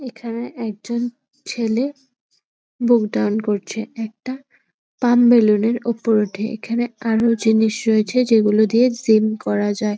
এখানে একজন ছেলে বুুক ডন করছে। একটা পাম্প বেলুন ওপর উঠেএখানে আরো জিনিস রয়েছে যেগুলো দিয়ে জিম করা যায় ।